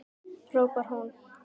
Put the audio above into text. hrópar hún.